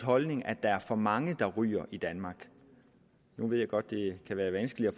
holdning at der er for mange der ryger i danmark nu ved jeg godt det kan være vanskeligt at